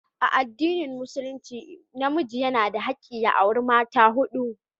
A addinin musulunci namiji yana da hakkin ya auri mata hudu.